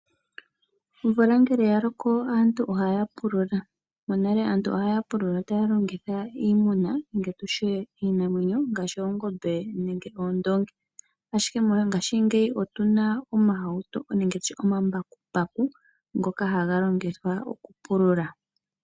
Omvula ngele ya loko aantu ohaya pulula. Monale aantu okwali haya pulula taya longitha iimuna nenge tutye iinamwenyo ngaashi oongombe nenge oondoongi. Ashike mongashingeyi otuna omambakumbaku ngoka haga longithwa okupulula.